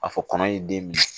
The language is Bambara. A fɔ kɔnɔ ye den minɛ